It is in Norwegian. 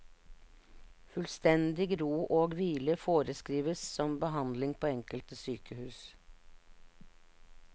Fullstendig ro og hvile foreskrives som behandling på enkelte sykehus.